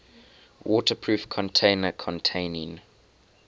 waterproof container containing